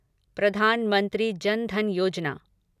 Pradhan Mantri Jan Dhan Yojana